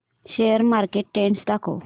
share market trend दाखव